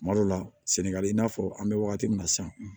Kuma dɔ la sɛnɛgali i n'a fɔ an bɛ wagati min na san